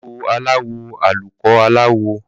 Koríko aláwọ̀ àlùkò aláwọ